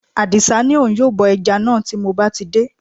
Àdì̀sá ní òun yóò bọ ẹja náà tí mo bá ti dé